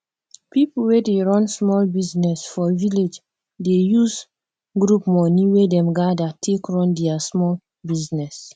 people wey dey run small business for village dey use group money wey them gather take run their small business